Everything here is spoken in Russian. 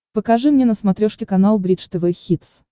покажи мне на смотрешке канал бридж тв хитс